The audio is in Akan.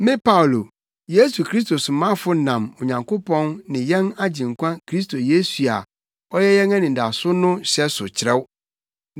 Me Paulo, Yesu Kristo somafo nam Onyankopɔn ne yɛn Agyenkwa Kristo Yesu a ɔyɛ yɛn anidaso no hyɛ so kyerɛw,